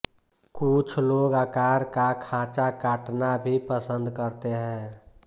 कुछ लोग आकार का खाँचा काटना भी पसंद करते हैं